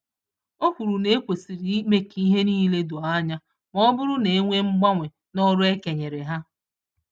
Okwuru na ekwesịrị ime k'ihe nile doo ányá, mọbụrụ na enwee mgbanwe n'ọrụ e kenyeere ha